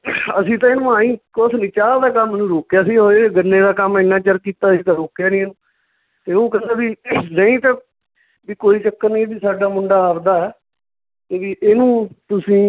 ਅਸੀਂ ਤਾਂ ਏਨੂੰ ਆਈਂ ਕੁਛ ਨੀ ਚਾਹ ਕੰਮ ਨੂੰ ਰੋਕਿਆ ਸੀਗਾ ਇਹ ਗੰਨਿਆਂ ਦਾ ਕੰਮ ਏਨਾਂ ਚਿਰ ਕੀਤਾ ਅਸੀਂ ਤਾਂ ਰੋਕਿਆ ਨੀਂ, ਤੇ ਓਹ ਕਹਿੰਦਾ ਵੀ ਨਹੀਂ ਤਾਂ ਵੀ ਕੋਈ ਚੱਕਰ ਨੀ ਇਹ ਵੀ ਸਾਡਾ ਮੁੰਡਾ ਆਵਦਾ ਹੈ ਵੀ ਇਹਨੂੰ ਤੁਸੀਂ